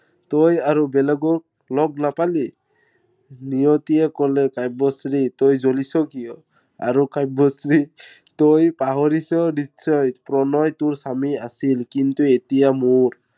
তই আৰু বেলেগক লগ নাপালি। নিয়িতিয়ে কলে কাব্যশ্ৰী তই জ্বলিছ কিয়? আৰু কাব্যশ্ৰী তই পাহৰিছ নিশ্চয়, প্ৰণয় তোৰ স্বামী আছিল, কিন্তু এতিয়া মোৰ।